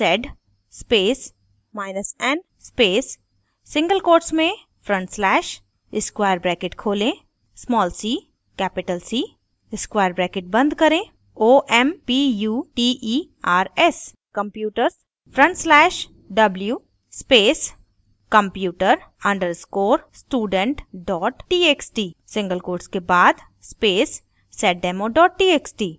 sed spacen space single quotes में front slash square bracket खोलें cc square bracket बंद करें omputers/w space computer _ student txt single quotes के बाद space seddemo txt